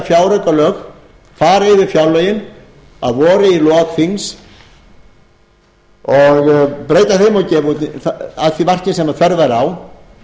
fjáraukalög fara yfir fjárlögin að vori í lok þings og breyta þeim að því marki sem þörf væri á